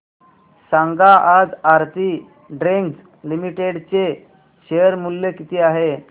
सांगा आज Aarti drugs limited चे शेअर मूल्य किती आहे